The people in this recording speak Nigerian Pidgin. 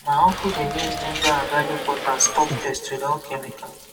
my uncle dey use ginger and garlic water stop pest without chemical